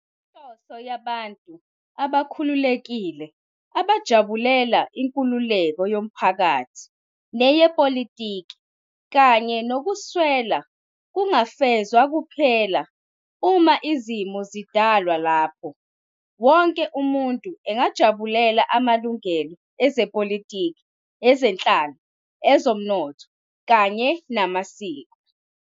Inhloso yabantu abakhululekile abajabulela inkululeko yomphakathi neyepolitiki kanye nokuswela kungafezwa kuphela uma izimo zidalwa lapho wonke umuntu engajabulela amalungelo ezepolitiki, ezenhlalo, ezomnotho kanye namasiko.